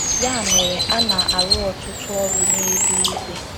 Ya mere, a na - arụ ọtụtụ ọrụ n’eluigwe.